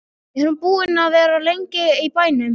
Er hún búin að vera lengi í bænum?